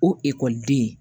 O ekɔliden